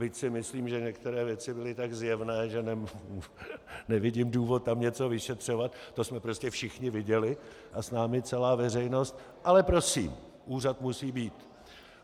Byť si myslím, že některé věci byly tak zjevné, že nevidím důvod tam něco vyšetřovat, to jsme prostě všichni viděli a s námi celá veřejnost, ale prosím, úřad musí být.